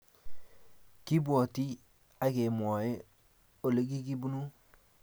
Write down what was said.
Kibwatii akemwae olekikipunuu